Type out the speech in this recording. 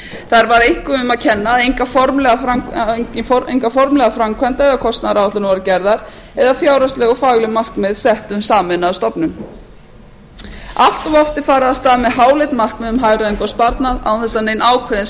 þar var einkum um að kenna að engar formlegar framkvæmda eða kostnaðaráætlanir voru gerðar eða fjárhagsleg og fagleg markmið sett um sameinaða stofnun allt of oft er farið af stað með háleit markmið um hagræðingu og sparnað án þess að nein ákveðin